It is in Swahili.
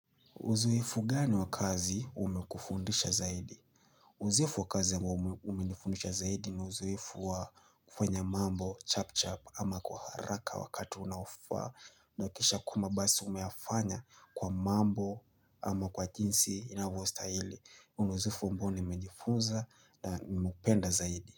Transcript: Uzoefu gani wa kazi umekufundisha zaidi? Uzoefu wa kazi ambao umenifundisha zaidi ni uzoefu wa kufanya mambo, chap chap ama kwa haraka wakati unaofaa. Nahakisha kwamba basi umeyafanya kwa mambo ama kwa jinsi inavyo stahili. Huu ni uzoefu ambao nimejifunza na nimeupenda zaidi.